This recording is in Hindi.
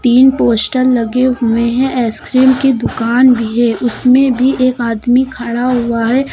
तीन पोस्टर लगे हुए हैं आइसक्रीम की दुकान भी है उसमें भी एक आदमी खड़ा हुआ है।